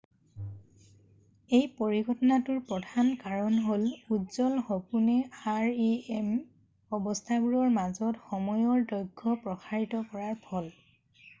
এই পৰিঘটনাটোৰ প্ৰধান কাৰণ হ'ল উজ্বল সপোনে rem অৱস্থাবোৰৰ মাজত সময়ৰ দৈৰ্ঘ্য প্ৰসাৰিত কৰাৰ ফল